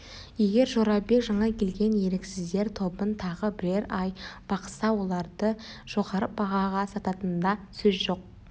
егер жорабек жаңа келген еріксіздер тобын тағы бірер ай бақса оларды жоғары бағаға сататынында сөз жоқ